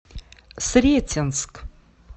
сретенск